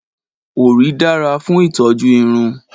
Òrí dára fún ìtọ́jú irun